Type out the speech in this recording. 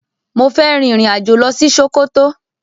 Mo fẹ́ rin ìrìn-àjò lọ ṣí Ṣókótó.